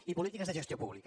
i polítiques de gestió pública